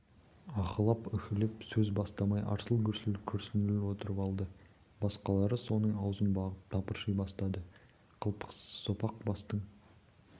аһылап-үһілеп сөз бастамай арсыл-гүрсіл күрсініп отырып алды басқалары соның аузын бағып тыпырши бастады қылпықсыз сопақ бастың